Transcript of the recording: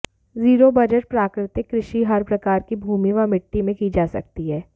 zero budget प्राकृतिक कृषि हर प्रकार की भूमि व मिट्टी में की जा सकती है